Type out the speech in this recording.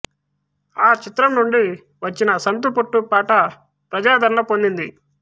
ఆ చిత్రం నుండి వచ్చిన సంతుపోట్టు పాట ప్రజాదరణ పొందింది